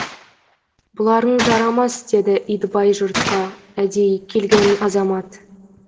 бұларың жарамас деді итбай жұртқа әдейі келген азамат